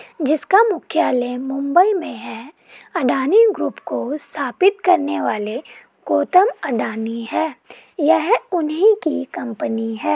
जिसका मुख्यालय मुंबई में है अडानी ग्रुप को स्थापित करने वाले गौतम अडानी है यह उन्ही की कंपनी है।